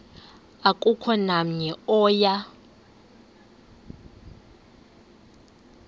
akukho namnye oya